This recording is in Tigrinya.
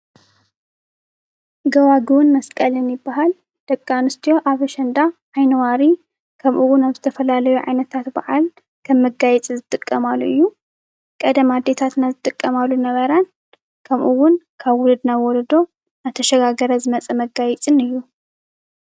ጎባጉብን መስቀልን ይበሃል። ደቂ ኣንስትዮ ዓይኒ ዋሪ ከምኡ እውን ኣብ ዝተፈላለዩ ዓይነታት በዓል ከም መጋየፂ ዝጥቀማሉ እዩ። ቀደም ኣዴታትና ዝጥቀማሉ ዝነበራ ከምኡ እውን ካብ ውሉድ ናብ ወለዶ እናተሸጋገረ ዝመፀ መጋየፅን እዩ ።